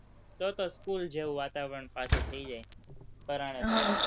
તો તો school જેવું વાતાવરણ પાછું થઇ જાય